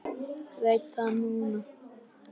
Veit það núna.